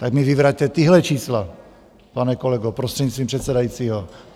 Tak mi vyvraťte tahle čísla, pane kolego, prostřednictvím předsedajícího.